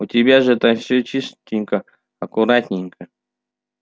у тебя же там всё чистенько аккуратненько